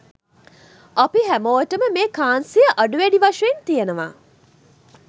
අපි හැමෝටම මේ කාන්සිය අඩු වැඩි වශයෙන් තියෙනව.